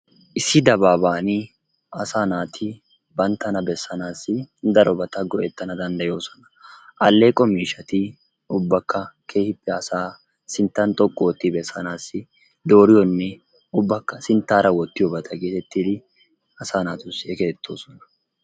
Issi dabaaban asaa naati banttana bessanaasi darobbata go"ettana dandayoosona. Alleqo mishshati ubbakka keehippe asaa sinttan xooqqu ootti bessanaasi dooriyonne ubbakka sinttaara woottiyoobata gettettidi asaa naatussi erettoosona.